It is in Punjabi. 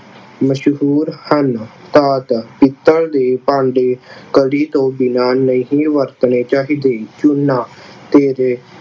ਮਸ਼ਹੂਰ ਹਨ। ਪਿੱਤਲ ਦੇ ਭਾਂਡੇ ਕਲੀ ਤੋਂ ਬਿਨ੍ਹਾਂ ਨਹੀਂ ਵਰਤਣੇ ਚਾਹੀਦੇ। ਚੂੰਨਾ ਤੇਰਾ